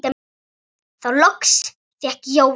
Þá loks fékk Jóra málið.